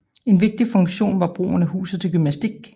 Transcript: En vigtig funktion var brugen af huset til gymnastik